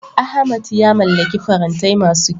Ahmad ya mallaki farantai masu kyau.